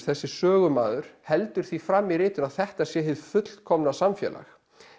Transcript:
þessi sögumaður heldur því fram í ritinu að þetta sé hið fullkomna samfélag